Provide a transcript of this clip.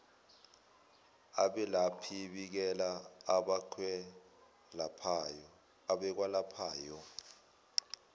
abelaphi bikela abakwelaphayo